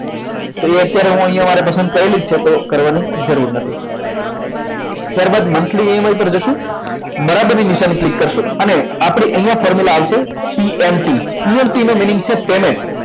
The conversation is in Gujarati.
તો અત્યારે અમારે પસંદ કરેલી છે તો તો કરવાની જરૂર નથી ત્યારબાદ monthly મંથલી એમાઈ પર જઈશું બરાબર ની નિશાની ક્લિક કરશો અને આપણે અહીંયા formula આવશે PMTPMT નો meaning છે payment